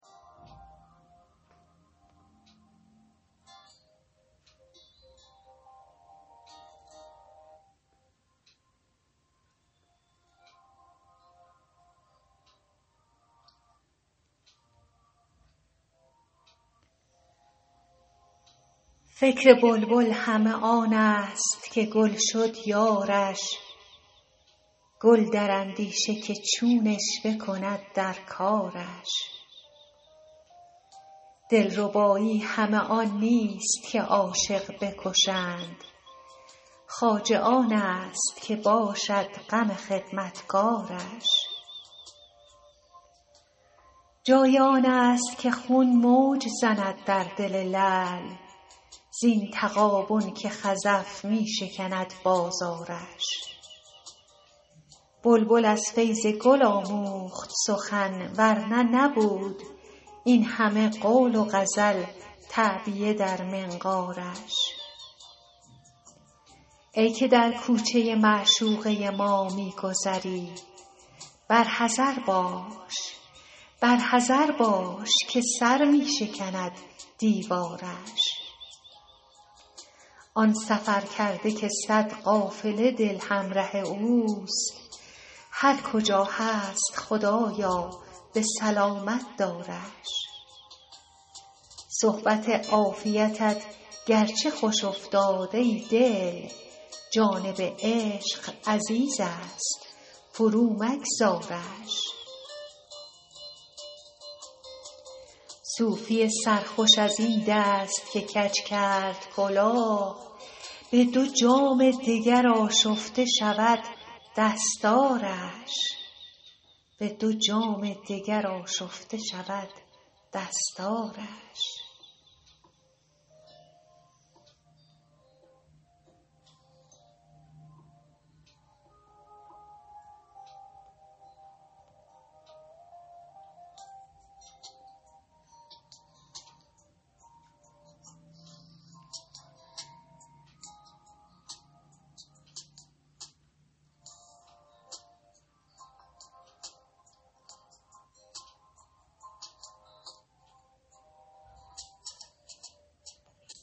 فکر بلبل همه آن است که گل شد یارش گل در اندیشه که چون عشوه کند در کارش دلربایی همه آن نیست که عاشق بکشند خواجه آن است که باشد غم خدمتکارش جای آن است که خون موج زند در دل لعل زین تغابن که خزف می شکند بازارش بلبل از فیض گل آموخت سخن ور نه نبود این همه قول و غزل تعبیه در منقارش ای که در کوچه معشوقه ما می گذری بر حذر باش که سر می شکند دیوارش آن سفرکرده که صد قافله دل همره اوست هر کجا هست خدایا به سلامت دارش صحبت عافیتت گرچه خوش افتاد ای دل جانب عشق عزیز است فرومگذارش صوفی سرخوش از این دست که کج کرد کلاه به دو جام دگر آشفته شود دستارش دل حافظ که به دیدار تو خوگر شده بود نازپرورد وصال است مجو آزارش